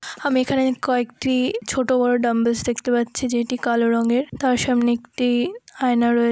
আমি এখানে কয়েকটি-ই ছোট বড়ো ডাম্বেস দেখতে পাচ্ছি যেটি কালো রঙের তার সামনে একটি-ই আয়না রয়ে--